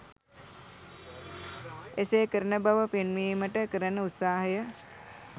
එසේ කරන බව පෙන්වීමට කරන උත්සාහය.